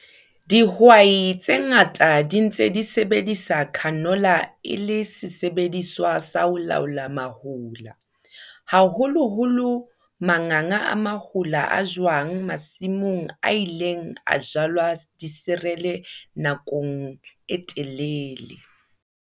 Dihwai tse ngata di ntse di sebedisa canola e le sesebediswa sa ho laola mahola, haholoholo manganga a mahola a jwang masimong a ileng a jalwa diserele nakong e telele.